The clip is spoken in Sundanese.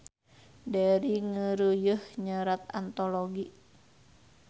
Deri ngeureuyeuh nyerat antologi